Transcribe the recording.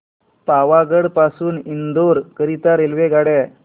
पावागढ पासून इंदोर करीता रेल्वेगाड्या